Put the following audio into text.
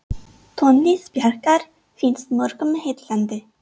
Tónlist Bjarkar finnst mörgum heillandi.